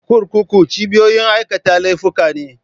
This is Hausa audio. Kurkuku cibiyoyin aikata laifuka ne